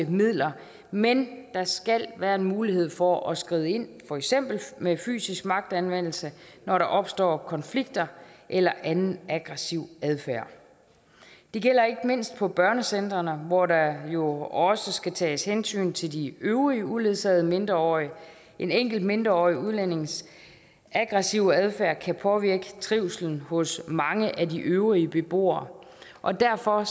midler men der skal være en mulighed for at skride ind for eksempel med fysisk magtanvendelse når der opstår konflikter eller anden aggressiv adfærd det gælder ikke mindst på børnecentrene hvor der jo også skal tages hensyn til de øvrige uledsagede mindreårige en enkelt mindreårig udlændings aggressive adfærd kan påvirke trivslen hos mange af de øvrige beboere og derfor